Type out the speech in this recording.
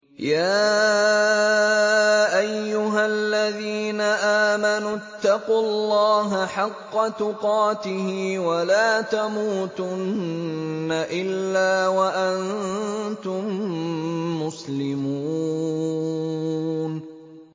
يَا أَيُّهَا الَّذِينَ آمَنُوا اتَّقُوا اللَّهَ حَقَّ تُقَاتِهِ وَلَا تَمُوتُنَّ إِلَّا وَأَنتُم مُّسْلِمُونَ